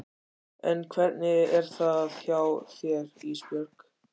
En hvernig er það hjá þér Ísbjörg?